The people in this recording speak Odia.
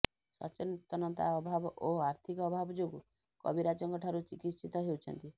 ସଚେତନତା ଅଭାବ ଓ ଆର୍ଥିକ ଅଭାବ ଯୋଗୁ କବିରାଜଙ୍କ ଠାରୁ ଚିକିତ୍ସିତ ହେଉଛନ୍ତି